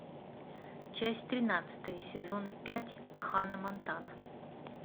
часть тринадцатая сезона пять ханна монтана